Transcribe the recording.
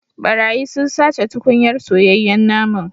Barayi sun sace tukunyar soyayyen naman